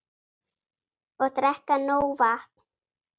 Og drekka nóg vatn.